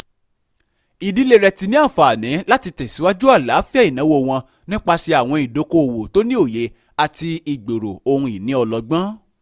ìdílé rẹ ti ní àǹfààní láti tẹ̀síwájú àlàáfíà ìnáwó wọn nípasẹ̀ àwọn ìdókò-owó tó ní òye àti ìgbero ohun-ìní ọlọ́gbọn